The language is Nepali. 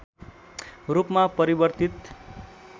रूपमा परिवर्तित